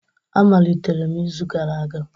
A malitere m izu gara aga